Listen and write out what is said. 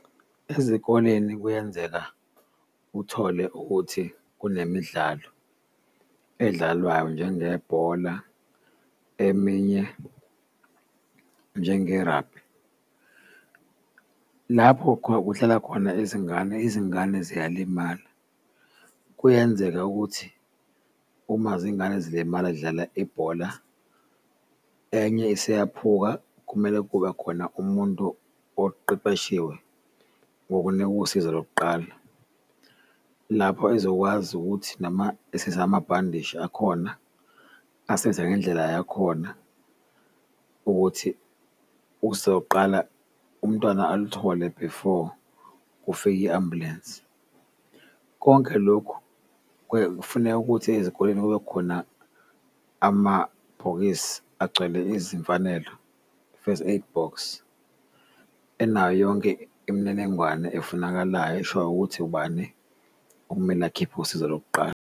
Ezikoleni kuyenzeka uthole ukuthi kunemidlalo edlalwayo njengebhola eminye njengerabhi, lapho kuhlala khona izingane, izingane ziyalimala. Kuyenzeka ukuthi uma zingane zilimala zidlala ibhola, enye eseyakhuphuka kumele kube khona umuntu oqeqeshiwe ngokunika usizo lokuqala lapho ezokwazi ukuthi noma esezamabhandishi akhona, asize ngendlela yakhona ukuthi usoqala umntwana aluthole before kufike i-ambulensi. Konke lokhu kufuneka ukuthi ezikoleni kube khona amabhokisi agcwele izimfanelo, first aid box enayo yonke imininingwane efunakalayo eshoyo ukuthi ubani okumele akhiphe usizo lokuqala.